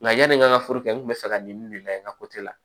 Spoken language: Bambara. Nka yani n ka foro kɛ n kun bɛ fɛ ka nin de layɛ n ka la